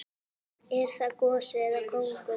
Er það gosi eða kóngur?